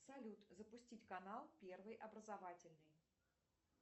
салют запустить канал первый образовательный